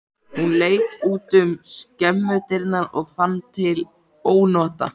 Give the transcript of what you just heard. Hún leit út um skemmudyrnar og fann til ónota.